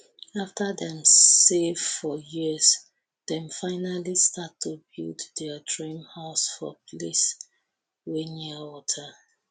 after dem save for years dem finally start to build dia dream house for place wey near wata